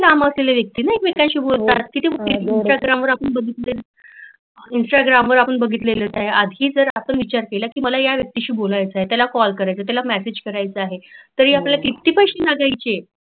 एकमेकांशी बोलताना किती व्यक्ती इंस्टाग्राम वर आपण बघितलेच इंस्टाग्राम वर आपण बघितलेच आहे आधी जर आपण विचार केला की मला या व्यक्तीशी बोलायच आहे त्याला काॅल करायचा आहे, त्याला मॅसेज करायचा आहे तरी किती पैसे लागायचे.